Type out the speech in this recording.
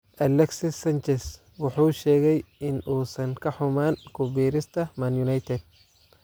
Alexis Sanchez wuxuu sheegay in uusan ka xumaan ku biirista Man Utd.